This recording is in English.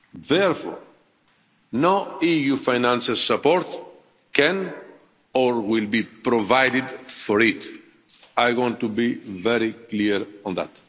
therefore no EU financial support can or will be provided for it. I want to be very clear on